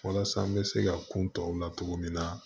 Walasa n bɛ se ka kun tɔw la cogo min na